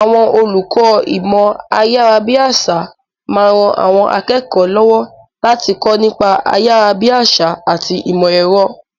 Àwọn olùkọ́ ìmọ̀ ayárabíàṣá máa ń ran àwọn akẹ́kọ̀ọ́ lọ́wọ́ láti kọ́ nípa ayárabíàṣá àti ìmọ̀ ẹ̀rọ.